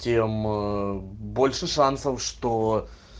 тем больше шансов что